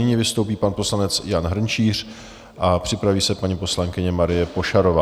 Nyní vystoupí pan poslanec Jan Hrnčíř a připraví se paní poslankyně Marie Pošarová.